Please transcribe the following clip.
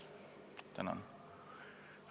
Tänan!